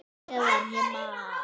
Meðan ég man!